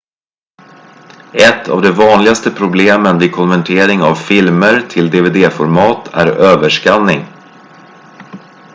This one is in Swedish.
ett av de vanligaste problemen vid konvertering av filmer till dvd-format är överskanning